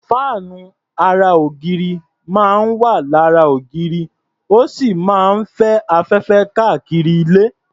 Fáànù ara ògiri máa ń wà lára ògiri, ó sì máa ń fẹ́ afẹ́fẹ́ kárí ilé.